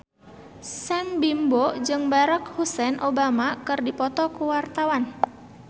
Sam Bimbo jeung Barack Hussein Obama keur dipoto ku wartawan